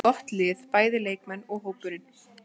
Þeir eru með gott lið, bæði leikmenn og hópurinn.